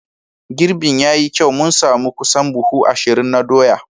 Girbin ya yi kyau, mun sami kusan buhu ashirin na doya.